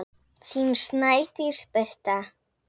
Þín Snædís Birta.